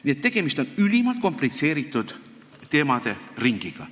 Nii et tegemist on ülimalt komplitseeritud teemaringiga.